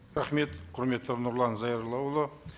рахмет құрметті нұрлан зайроллаұлы